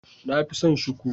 Na fi son shuku.